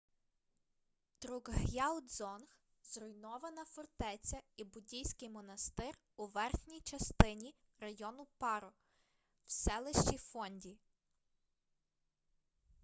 друкг'ял дзонг— зруйнована фортеця і буддійський монастир у верхній частині району паро в селищі фонді